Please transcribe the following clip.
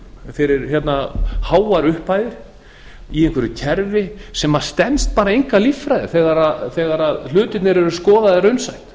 fyrir háar upphæðir í einhverju kerfi sem stenst enga líffræði þegar hlutirnir eru skoðaðir raunsætt